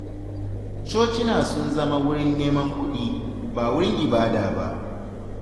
Cocina sun zama wurin neman kuɗin, ba wurin ibada ba.